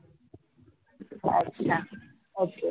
अच्छा ok